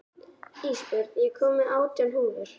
Ísbjörn, ég kom með átján húfur!